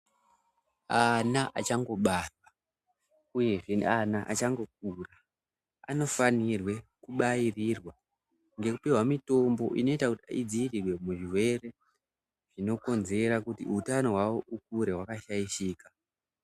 Ana achangobarwa uyezve neana achangokura anofanirwe kubairirwa ngekupihwa mutombo inoita kuti idziirirwe muzvirwere zvinokonzera kuti utano hwavo ukure wakashaishika.